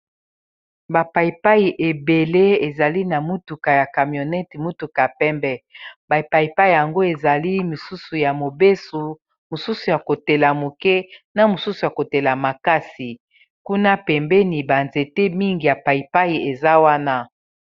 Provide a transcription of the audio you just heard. Ba pay pay ebele ezali na motuka ya camionete motuka pembe ba paipai yango ezali mosusu ya mobeso mosusu ya kotela moke na mosusu ya kotela makasi kuna pembeni ba nzete mingi ya paipai eza wana.